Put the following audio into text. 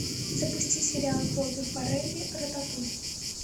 запусти сериал бобби фаррелли рататуй